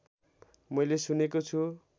मैले सुनेको छु